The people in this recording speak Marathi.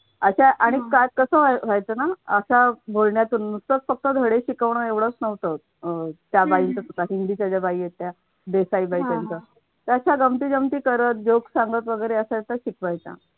अशा आणि काय कसं व्हायचं ना अशा बोलण्यातून नुसतच फक्त धड शिकवण एवढेच नव्हतं त्या बाईंच्या हिंदीच्या बाई होत्या त्या अशा गमतीजमती परत जोक सांगत वेगळे अशा शिकवायच्या.